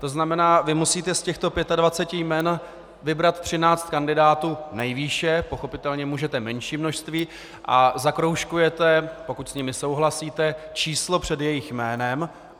To znamená, vy musíte z těchto 25 jmen vybrat 13 kandidátů nejvýše, pochopitelně můžete menší množství, a zakroužkujete, pokud s nimi souhlasíte, číslo před jejich jménem.